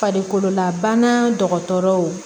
Farikololabana dɔgɔtɔrɔw